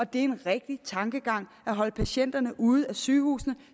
det er en rigtig tankegang at holde patienterne ude af sygehusene